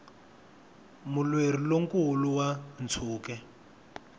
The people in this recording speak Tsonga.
mulweri lo nkulu wa ntshuke